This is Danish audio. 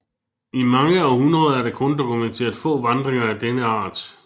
I mange århundreder er der kun dokumenteret få vandringer af denne art